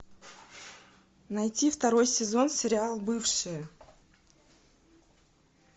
найти второй сезон сериал бывшие